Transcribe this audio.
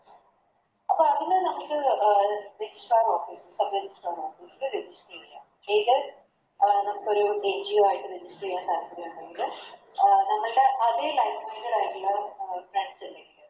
അപ്പൊ അതില് നമുക്ക് അഹ് Exam Register ചെയ്യാം താല്പര്യയുണ്ടെങ്കില് അഹ് നമ്മൾടെ അതെ Friends ഇണ്ടെങ്കില്